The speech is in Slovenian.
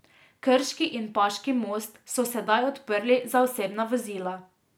Krški in paški most so sedaj odprli za osebna vozila.